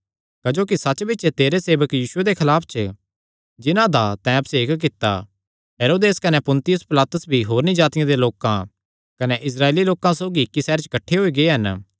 क्जोकि सच्च बिच्च तेरे सेवक यीशुये दे खलाफ च जिन्हां दा तैं अभिषेक कित्ता हेरोदेस कने पुन्तियुस पिलातुस भी होरनी जातिआं दे लोकां कने इस्राएली लोकां सौगी इस सैहरे च किठ्ठे होई गै हन